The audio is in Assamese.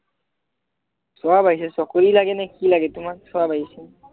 সব আহিছে চকৰি লাগেনে কি লাগে তোমাক সব আহিছে